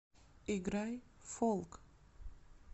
играй фолк